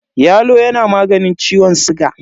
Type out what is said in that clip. Yalo yana maganin ciwon siga.